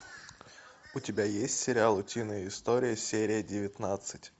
у тебя есть сериал утиные истории серия девятнадцать